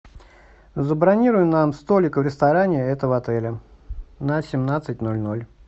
забронируй нам столик в ресторане этого отеля на семнадцать ноль ноль